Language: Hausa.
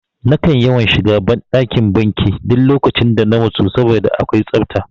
Nakan yawan shiga ban ɗakin banki duk lokacin da na matsu saboda akwai safta